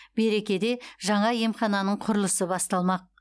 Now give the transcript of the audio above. берекеде жаңа емхананың құрылысы басталмақ